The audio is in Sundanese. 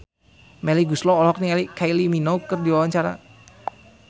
Melly Goeslaw olohok ningali Kylie Minogue keur diwawancara